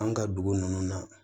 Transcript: An ka dugu ninnu na